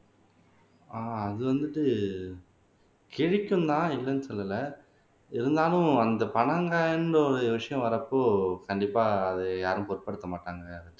ஆஹ் அது வந்துட்டு கிழிக்கும் தான் இல்லைன்னு சொல்லலை இருந்தாலும் அந்த பனங்காய்ன்ற ஒரு விஷயம் வர்றப்போ கண்டிப்பா அது யாரும் பொருட்படுத்த மாட்டாங்க